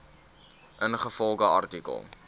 ingevolge artikel